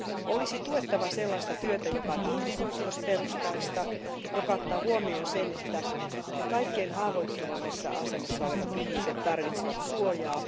Olisi tuettava sellaista työtä, joka on ihmisoikeusperustaista ja joka ottaa huomioon sen, että kaikkein haavoittuvimmassa asemassa olevat ihmiset tarvitsevat suojaa.